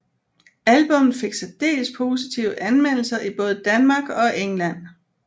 Albummet fik særdeles positive anmeldelser i både Danmark og England